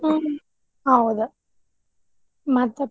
ಹ್ಮ್ ಹೌದ್ ಮತ್ತೆ .